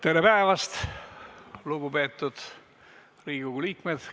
Tere päevast, lugupeetud Riigikogu liikmed!